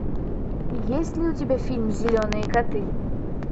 есть ли у тебя фильм зеленые коты